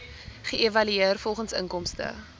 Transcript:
geëvalueer volgens inkomste